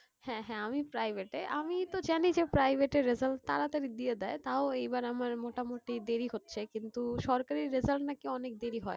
হ্যাঁ হ্যাঁ আমি private এ, আমি তো জানি যে private এর result তাড়াতাড়ি দিয়ে দেয়, তাও এইবার আমার মোটামুটি দেরি হচ্ছে, কিন্তু সরকারি result নাকি অনেক দেরি হয়।